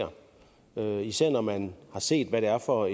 jamen især når man har set hvad det er for